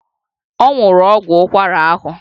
Ọ nwụrụ ọgwụ ụkwara ahụ